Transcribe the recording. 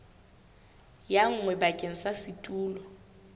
ya nngwe bakeng sa setulo